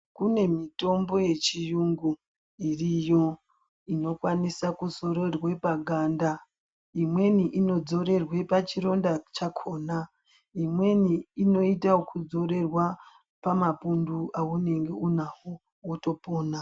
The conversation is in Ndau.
Kune mitombo yechiyungu iriyo inokwanisa kuzorerwa paganda imweni inozorerwa pachironda chakhona imweni inoitwa ekuzorerwa pamapundu awunenge unawo wotopona.